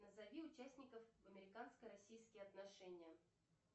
назови участников американско российские отношения